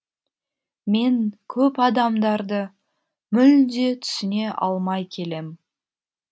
мен көп адамдарды мүлде түсіне алмай келем